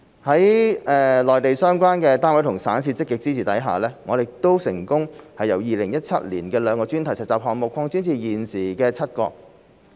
在內地相關單位和省市的積極支持下，我們成功由2017年的兩個專題實習項目擴展至現時的7個。